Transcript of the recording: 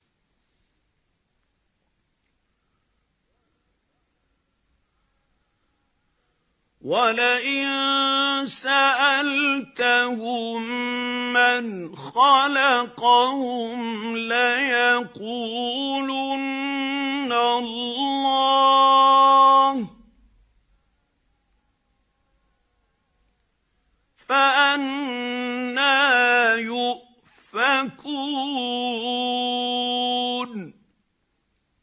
وَلَئِن سَأَلْتَهُم مَّنْ خَلَقَهُمْ لَيَقُولُنَّ اللَّهُ ۖ فَأَنَّىٰ يُؤْفَكُونَ